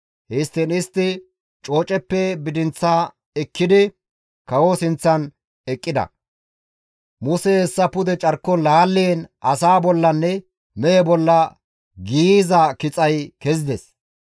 Histtiin istti cooceppe bidinth ekkidi kawoza sinththan eqqida; Musey hessa pude carkon laalliin asaa bollanne mehe bolla giiyiza kixay kezides.